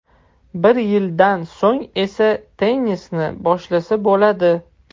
Bir yildan so‘ng esa tennisni boshlasa bo‘ladi.